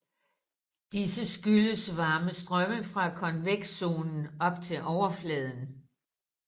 Disse skyldes varme strømme fra konvektionszonen op til overfladen